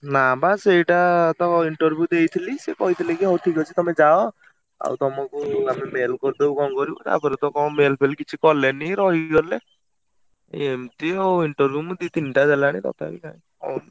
ନା ବା ସେଇଟା ତ interview ଦେଇଥିଲି, ସେ କହିଥିଲେ ହଉ ଠିକ୍ ଅଛି ତମେ ଯାଅ ଆଉ ତମୁକୁ ଆମେ mail କରିଦବୁ କଣ କରିବୁ ତା ପରେ ତ କଣ mail ଫେଲ କିଛି କଲେନି ରହିଗଲେ| ~ଏ ~ମତି ଆଉ interview ମୁଁ ଦି ତିନିଟା ଦେଲାଣି ତଥାପି ଖାଲି।